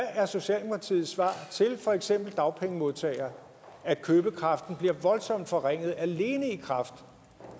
er socialdemokratiets svar til for eksempel dagpengemodtagere at købekraften bliver voldsomt forringet alene i kraft